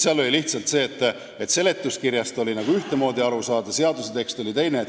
Oli lihtsalt nii, et seletuskirjast võis nagu ühtemoodi aru saada, aga seaduse tekst oli teine.